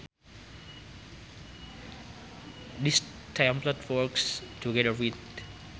This template works together with.